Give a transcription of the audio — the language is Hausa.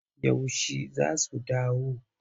Yaushe za su dawo?